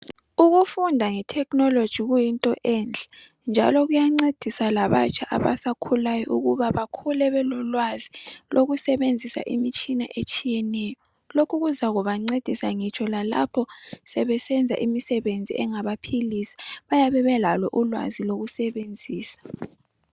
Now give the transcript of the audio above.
Ukufunda ngethekhinoloji kuyinto enhle njalo kuyancedisa labatsha abasakhulayo ukuba bakhule belolwazi lokusebenzisa imitshina etshiyeneyo. Lokhu kuzabancedisa lalapho sebesenza imisebenzi engabaphilisa bayabe belalo ulwazi.